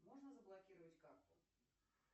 можно заблокировать карту